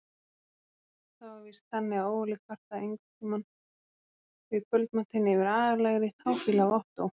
Það var víst þannig að Óli kvartaði einhverntíma við kvöldmatinn yfir agalegri táfýlu af Ottó.